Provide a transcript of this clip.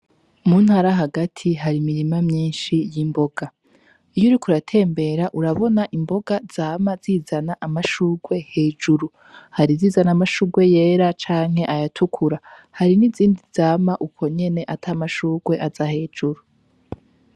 Umuntu ara hagati hari imirima myinshi y'imboga iyo uriko uratembera urabona imboga zama zizana amashurwe hejuru hari zizana amashurwe yera canke ayatukura hari n'izindi zama uko nyene ata amashurwe aza hejuru.